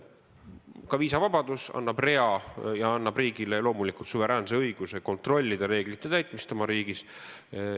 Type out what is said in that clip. Ka viisavabaduse korral on riigil loomulikult suveräänne õigus kontrollida reeglite täitmist oma riigis.